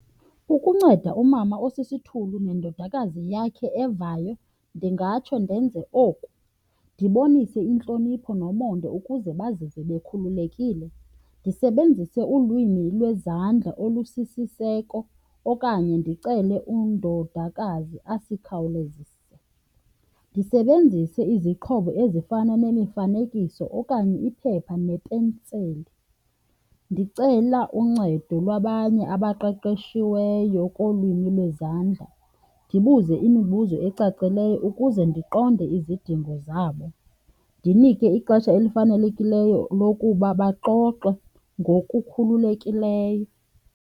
Ukunceda umama osisithulu nendodakazi yakhe evayo ndingatsho ndenze oku. Ndibonise intlonipho nomonde ukuze bazive bekhululekile, ndisebenzise ulwimi lwezandla olusisiseko okanye ndicele undodakazi asikhawulezisele. Ndisebenzise izixhobo ezifana nemifanekiso okanye iphepha nepenseli. Ndicela uncedo lwabanye abaqeqeshiweyo kulwimi lwezandla, ndibuze imibuzo ecacileyo ukuze ndiqonde izidingo zabo, ndinike ixesha elifanelekileyo lokuba baxoxe ngokukhululekileyo.